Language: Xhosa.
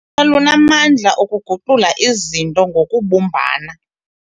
Ulutsha lunamandla okuguqula izinto ngokubumbana.